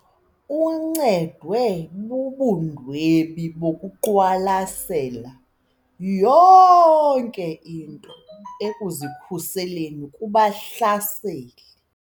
Uncedwe bubundwebi bokuqwalasela yonke into ekuzikhuseleni kubahlaseli.